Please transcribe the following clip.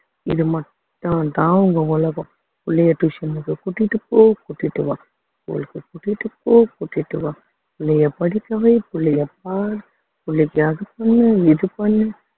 இது மட்டும்தான் அவங்க உலகம் புள்ளைய டியூஷனுக்கு கூட்டிட்டு போ கூட்டிட்டு வா ஊருக்கு கூட்டிட்டு போ கூட்டிட்டு வா புள்ளைய படிக்கவை புள்ளைய பார் புள்ளைக்கு அது பண்ணு இது பண்ணு